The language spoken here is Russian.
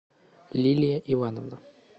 лилия ивановна